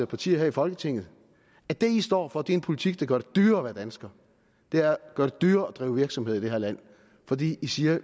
partier her i folketinget at det de står for er en politik der gør det dyrere at være dansker og dyrere at drive virksomhed i det her land fordi de siger at